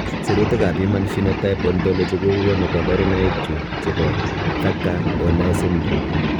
Sirutikab Human Phenotype Ontology kokonu koborunoikchu chebo Thakker Donnai syndrome.